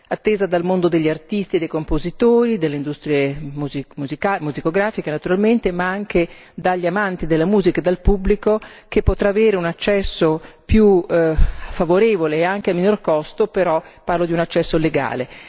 attesa dal mondo degli artisti e dei compositori, delle industrie musicografiche naturalmente, ma anche dagli amanti della musica e dal pubblico, che potrà avere un accesso più favorevole e anche a miglior costo, però parlo di un accesso legale.